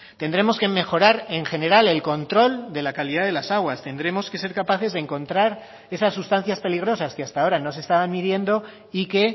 tendremos que mejorar en general el control de la calidad de las aguas tendremos que ser capaces de encontrar esas sustancias peligrosas que hasta ahora no se estaban midiendo y que